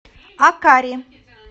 акари